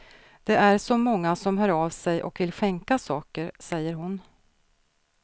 Det är så många som hör av sig och vill skänka saker, säger hon.